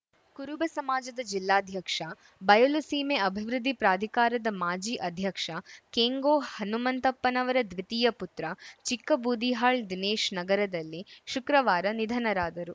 ಕುರುಬ ಸಮಾಜದ ಜಿಲ್ಲಾಧ್ಯಕ್ಷ ಬಯಲು ಸೀಮೆ ಅಭಿವೃದ್ಧಿ ಪ್ರಾಧಿಕಾರದ ಮಾಜಿ ಅಧ್ಯಕ್ಷ ಕೆಂಗೋ ಹನುಮಂತಪ್ಪನವರ ದ್ವಿತೀಯ ಪುತ್ರ ಚಿಕ್ಕಬೂದಿಹಾಳ್‌ ದಿನೇಶ್‌ ನಗರದಲ್ಲಿ ಶುಕ್ರವಾರ ನಿಧನರಾದರು